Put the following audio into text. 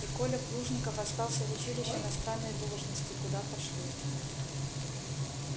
и коля плужников остался в училище на странной должности куда пошлют